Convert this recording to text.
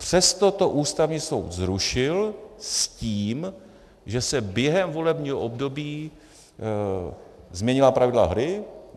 Přesto to Ústavní soud zrušil s tím, že se během volebního období změnila pravidla hry.